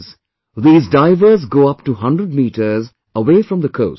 For the last many days, these divers go up to 100 mts